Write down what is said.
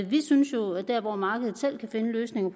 vi synes jo at der hvor markedet selv kan finde løsninger